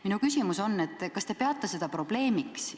Minu küsimus on: kas te peate seda probleemiks?